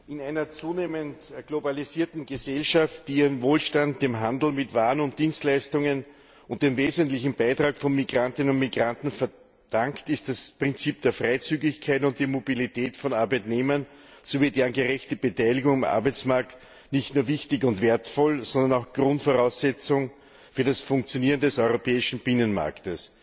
In einer zunehmend globalisierten Gesellschaft, die ihren Wohlstand dem Handel mit Waren und Dienstleistungen und dem wesentlichen Beitrag von Migrantinnen und Migranten verdankt, sind das Prinzip der Freizügigkeit und die Mobilität von Arbeitnehmern sowie deren gerechte Beteiligung am Arbeitsmarkt nicht nur wichtig und wertvoll, sondern auch Grundvoraussetzungen für das Funktionieren des europäischen Binnenmarkts.